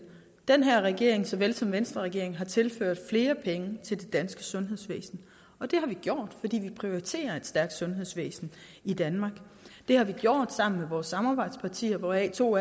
den her regering såvel som venstreregeringen har tilført flere penge til det danske sundhedsvæsen og det har vi gjort fordi vi prioriterer at er et sundhedsvæsen i danmark det har vi gjort sammen med vores samarbejdspartier hvoraf to